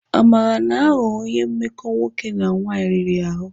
Amara na-aghọ onye mmekọ nwoke na nwanyị riri ahụ.